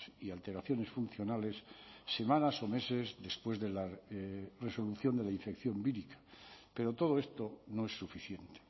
y alteraciones funcionales semanas o meses después de la resolución de la infección vírica pero todo esto no es suficiente